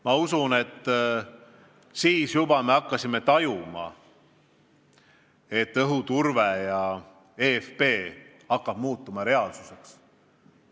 Ma usun, et juba siis me hakkasime tajuma, et õhuturve ja eFP hakkab muutuma reaalsuseks.